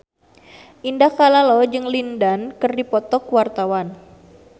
Indah Kalalo jeung Lin Dan keur dipoto ku wartawan